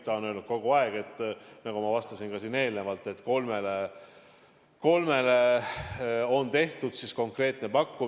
Ta on kogu aeg öelnud, nagu ma ka eelnevalt vastasin, et kolmele büroole tehti konkreetne pakkumine.